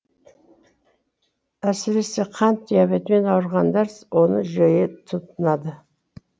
әсресе қант диабетімен ауырғандар оны жиі тұтынады